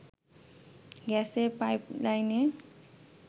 গ্যাসের পাইপলাইনে